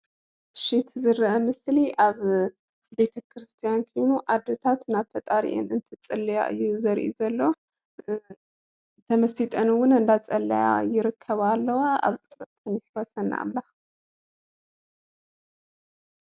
እሺ እቲ ዝረአ ምስሊ ኣብ ቤተክርስትያን ኮይኑ አዶታት ናብ ፈጣሪአን እንትፅልያ እዩ ዘርኢ ዘሎ ተመሲጠን ውን እንዳፀለያ ይርከባ አለዋ ኣብ ፀሎተን ይሕወሰና ኣምላክ።